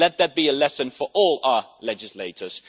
Let that be a lesson for all our legislators.